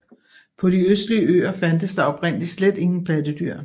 På de østlige øer fandtes der oprindeligt slet ingen pattedyr